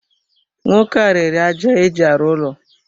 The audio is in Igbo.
Nwoke a n'ere aja eji arụ ụlọ.